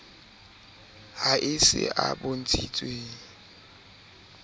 ha e se a bontshitsweng